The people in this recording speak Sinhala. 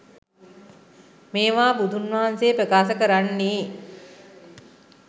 මේවා බුදුන් වහන්සේ ප්‍රකාශ කරන්නේ